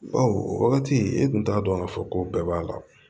Bawo o wagati i tun t'a dɔn k'a fɔ ko bɛɛ b'a la